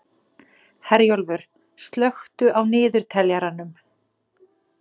Herjólfur, slökktu á niðurteljaranum.